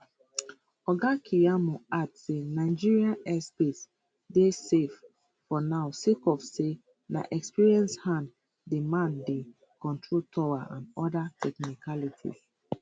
oga keyamo add say nigeria airspace dey safe for now sake of say na experienced hands dey man di control tower and oda technicalities